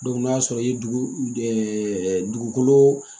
n'a sɔrɔ i ye dugukolo